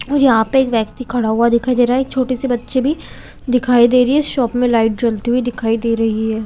और यहाँ पर एक व्यक्ति खड़ा हुआ दिखाई दे रहा है एक छोटी-सी बच्ची भी दिखाई दे रही हैं शॉप में लाइट जलती हुई दिखाई दे रही है।